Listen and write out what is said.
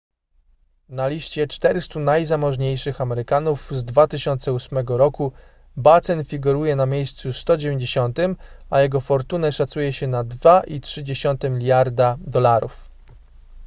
na liście 400 najzamożniejszych amerykanów z 2008 roku batten figuruje na miejscu 190 a jego fortunę szacuje się na 2,3 mld usd